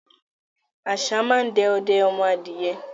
Àṣá máa ń de ọdẹ ọmọ adìẹ ni.